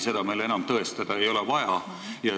Seda enam tõestada ei ole vaja.